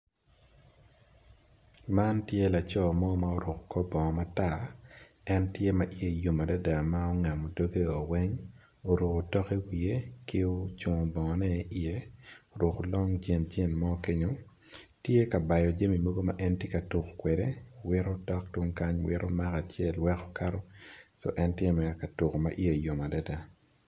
Man tye laco mo ma oruko kor bongo matar en tye ma i ye yom adada ma ongamo dogge o weng oruko tok i wiye ki ocungo bongo ne i ye oruko long jin jin mo kenyo tye ka bao jami mogo ma en tye ka tuko kwede wiyo dok tung kany wiro mako acel weko kato so en tye mere katuko ma iye yom adada.